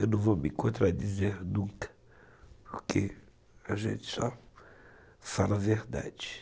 Eu não vou me contradizer nunca, porque a gente só fala a verdade.